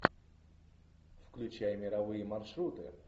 включай мировые маршруты